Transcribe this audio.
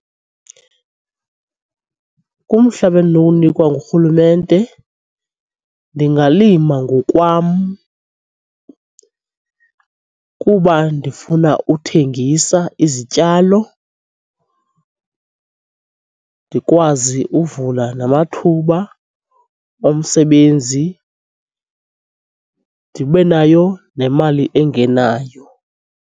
Kumhlaba endinokuwunikwa ngurhulumente ndingalima ngokwam kuba ndifuna uthengisa izityalo, ndikwazi uvula namathuba omsebenzi ndibe nayo nemali engenayo.